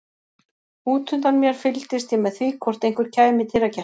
Útundan mér fylgdist ég með því hvort einhver kæmi í dyragættina.